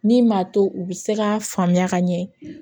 Min m'a to u bɛ se k'a faamuya ka ɲɛ